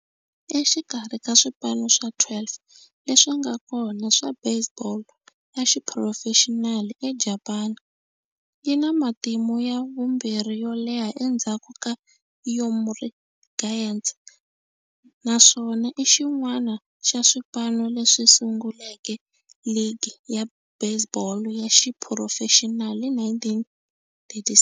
Exikarhi ka swipano swa 12 leswi nga kona swa baseball ya xiphurofexinali eJapani, yi na matimu ya vumbirhi yo leha endzhaku ka Yomiuri Giants, naswona i xin'wana xa swipano leswi sunguleke ligi ya baseball ya xiphurofexinali hi 1936.